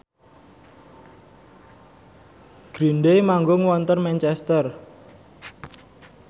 Green Day manggung wonten Manchester